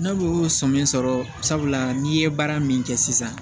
N'olu y'o sɔmi sɔrɔ sabula n'i ye baara min kɛ sisan